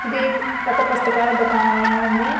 ఇది ఒక పుస్తకాల దుకాణంల ఉంది